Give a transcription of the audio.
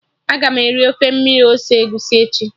Aga m eri ofe mmiri ose egusi echi